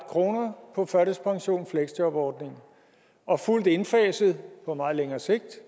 kroner på førtidspension og fleksjobordningen og fuldt indfaset på meget længere sigt